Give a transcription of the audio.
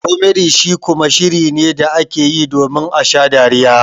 "Comedy" shi kuma shiri ne da ake yi domin a sha dariya.